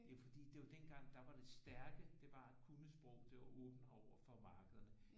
Det er fordi det er jo dengang der var det stærke det var at kunne sprog det var at åbne overfor markederne